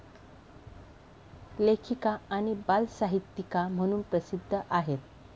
लेखिका आणि बालसाहित्यिका म्हणून प्रसिद्ध आहेत.